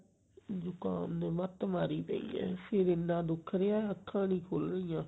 ਜੁਖਾਮ ਨੇ ਮੱਤ ਮਾਰੀ ਪਈ ਐ ਸਿਰ ਇੰਨਾ ਦੁੱਖ ਰਿਹਾ ਅੱਖਾ ਨਹੀਂ ਖੁੱਲ ਰਿਆ